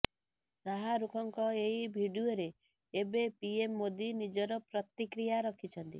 ଶାହରୁଖଙ୍କ ଏହି ଭିଡ଼ିଓରେ ଏବେ ପିଏମ୍ ମୋଦି ନିଜର ପ୍ରତିକ୍ରିୟା ରଖିଛନ୍ତି